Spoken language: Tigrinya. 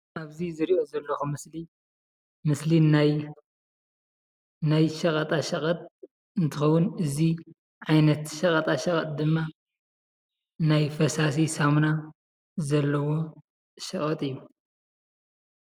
ኣብዚ ዝሪኦ ዘለኩ ምስሊ ምስሊ ናይ ናይ ሸቀጣሸቀጥ እንትኮውን እዚ ዓይነት ሸቀጣሸቀጥ ድማ ናይ ፈሳሲ ሳሙና ዘለዎ ሸቀጥ እዩ።